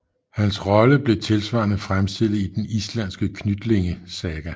Hans rolle er tilsvarende fremstillet i den islanske Knytlingasaga